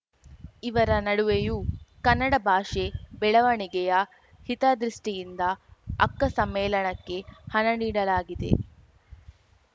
ಇವರ ನಡುವೆಯೂ ಕನ್ನಡ ಭಾಷೆ ಬೆಳವಣಿಗೆಯ ಹಿತದೃಷ್ಟಿಯಿಂದ ಅಕ್ಕ ಸಮ್ಮೇಳನಕ್ಕೆ ಹಣ ನೀಡಲಾಗಿದೆ